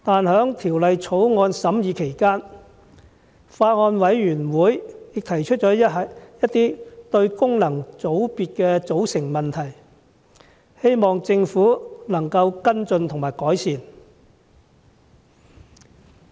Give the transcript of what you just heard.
在審議期間，法案委員會提出了一些有關功能界別組成的問題，我希望政府能作出跟進及改善。